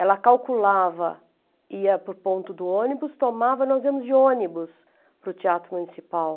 Ela calculava, ia para o ponto do ônibus, tomava, nós íamos de ônibus para o Teatro Municipal.